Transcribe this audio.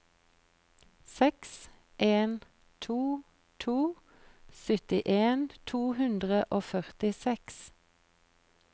seks en to to syttien to hundre og førtiseks